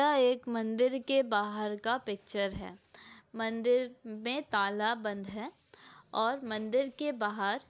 यह एक मंदिर के बाहर का पिक्चर है मंदिर में ताला बंद है और मंदिर के बाहर --